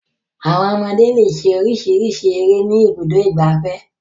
Àwọn ọmọdé le ṣe oríṣiríṣi eré ní Ibùdó-ìgbafẹ́.